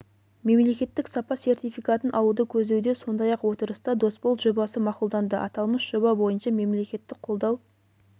мемлекеттік сапа сертификатын алуды көздеуде сондай-ақ отырыста досбол жобасы мақұлданды аталмыш жоба бойынша мемлекеттік қолдау